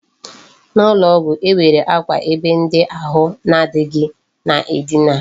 N'ụlọ ọgwụ, e nwere akwa ebe ndị ahụ na adịghị na-edina.